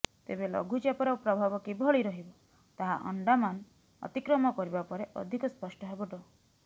ତେବେ ଲଘୁଚାପର ପ୍ରଭାବ କିଭଳି ରହିବ ତାହା ଆଣ୍ଡାମାନ ଅତିକ୍ରମ କରିବା ପରେ ଅଧିକ ସ୍ପଷ୍ଟ ହେବ ଡ